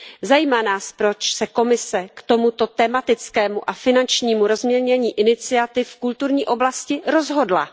Zajímá nás, proč se Komise k tomuto tematickému a finančnímu rozmělnění iniciativ v kulturní oblasti rozhodla.